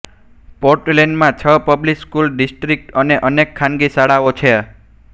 પોર્ટલેન્ડમાં છ public school district અને અનેક ખાનગી શાળાઓ છે